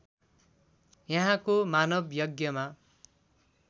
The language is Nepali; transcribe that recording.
यहाँको मानव यज्ञमा